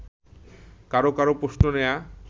কারো কারো প্রশ্ন নেয়া